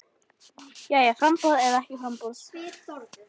Jæja framboð eða ekki framboð?